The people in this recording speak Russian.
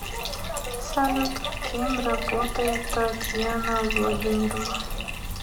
салют кем работает татьяна владимировна